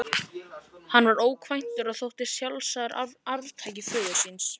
Hann var ókvæntur og þótti sjálfsagður arftaki föður síns.